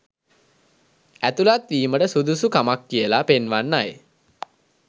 ඇතුලත් වීමට සුදුසු කමක් කියලා පෙන්වන්නයි.